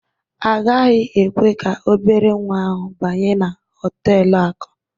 A gaghị ekwe ka obere nwa ahụ banye na họtelu akụ.